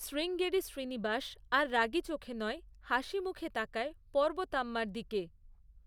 শ্রীঙ্গেরি শ্রীনিবাস আর রাগী চোখে নয়, হাসিমুখে তাকায় পর্বতাম্মার দিকে।